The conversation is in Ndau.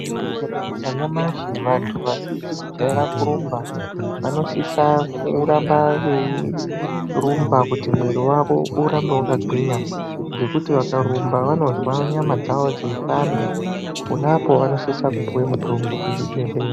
Tikatarisa nyamashi vantu vasizikujaira kurumba vanosisa kuramba veirumba kuti mwiri vawo urambe vakagwinya ngekuti vakarumba vanonzwa nyama dzawo dzeibanda ponapa vanosise kupiwe mutombo kuzvibhedhleya .